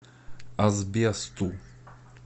асбесту